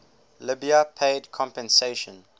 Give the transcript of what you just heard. libya paid compensation